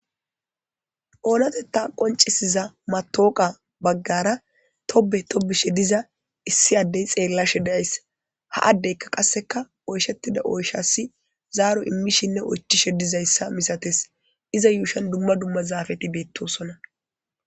oonatetta qoncisiza matooqa baggara tobe tobishe diza issi addey xeellashe deyays ha addeyka qasseka oyshettida oyshasi zaaro immishinne oychishe dizayssa misates iza yuushan dumma dumma zaafeti beettosonna